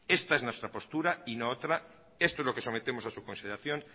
esta es nuestra postura y no otra esto es lo que sometemos a su consideración